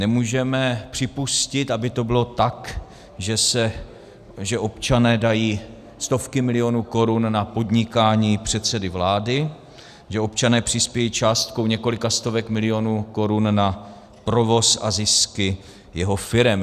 Nemůžeme připustit, aby to bylo tak, že občané dají stovky milionů korun na podnikání předsedy vlády, že občané přispějí částkou několika stovek milionů korun na provoz a zisky jeho firem.